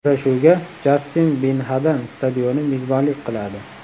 Uchrashuvga Jassim Bin Hadam stadioni mezbonlik qiladi.